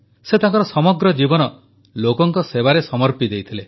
ସେ ତାଙ୍କର ସମଗ୍ର ଜୀବନ ଲୋକଙ୍କ ସେବାରେ ସମର୍ପି ଦେଇଥିଲେ